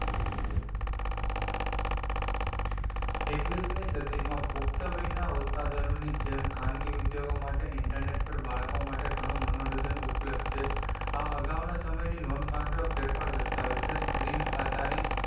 એકવીશ મી સદી માં પુખ્તવયના ઉત્પાદનો ની જેમ ખાનગી ઉદ્યોગો માટે internet પર બાળકો માટે ગણું મનોરંજન ઉપલબ્દ છે. આ અગાઉ ના સમય ની નોંધ પાત્ર ફેરફાર દર્શાવે છે. screen આ તારીખ,